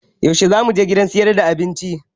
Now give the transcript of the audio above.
Yaushe zamu je gidan sayar da abinci?